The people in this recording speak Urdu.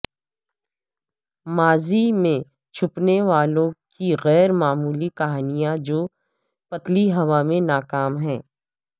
ماضی میں چھپنے والوں کی غیر معمولی کہانیاں جو پتلی ہوا میں ناکام ہیں